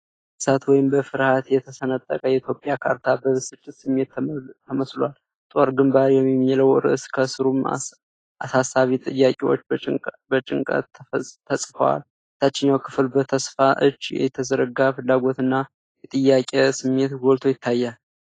በእሳት ወይም በፍርሃት የተሰነጠቀ የኢትዮጵያ ካርታ በብስጭት ስሜት ተመስሏል። "ጦር ግንባር" የሚለው ርዕስ ከስሩም አሳሳቢ ጥያቄዎች በጭንቀት ተጽፈዋል። የታችኛው ክፍል በተስፋ እጅ እየተዘረጋ የፍላጎትና የጥያቄ ስሜት ጎልቶ ይታያል።